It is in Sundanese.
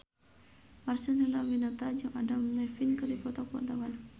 Marcel Chandrawinata jeung Adam Levine keur dipoto ku wartawan